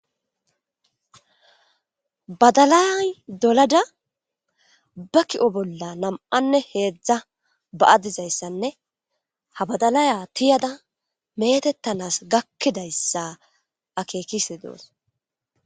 badalay dolada ba ki7o bolla nam7anne heedzdza ba7adizayssanne ha badalaya tiyada meetettanas gakkidayssa akeekise doos